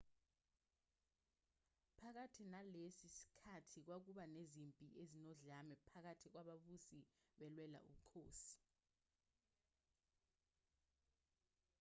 phakathi nalesi sikhathi kwakuba nezimpi ezinodlame phakathi kwababusi belwela ubukhosi